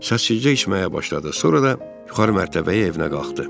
Səssizcə içməyə başladı, sonra da yuxarı mərtəbəyə evinə qalxdı.